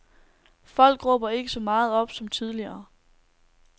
Folk råber ikke så meget op som tidligere.